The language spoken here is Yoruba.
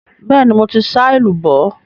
Bẹ́ẹ̀ni, mo ti sá èlùbọ́.